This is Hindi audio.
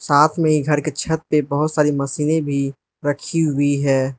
साथ में घर के छत पे बहोत सारी मशीन भी रखी हुई है।